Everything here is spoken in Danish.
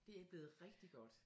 Det er blevet rigtig godt